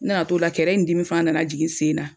N nana t'ola kɛrɛ in dimi fana nana jigin n sen na